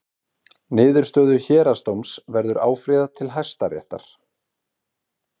Niðurstöðu Héraðsdóms verður áfrýjað til Hæstaréttar